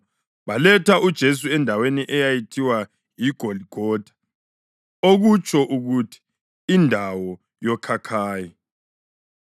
Baletha uJesu endaweni eyayithiwa yiGoligotha (okutsho ukuthi, “Indawo yoKhakhayi”).